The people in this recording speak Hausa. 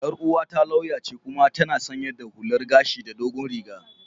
Yar uwata lauya ce kuma tana sanye da hullar gashi da dogon riga.